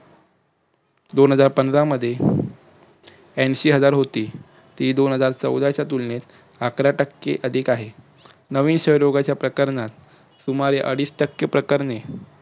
दोन हजार पंधरा मध्ये ऐन्शी हजार होती ती दोन हजार चौदा च्या तुलनेत अकरा टक्के अधिक आहे. नवीन क्षय रोगाच्या प्रकरणात सुमारे अडीच टक्के प्रकारने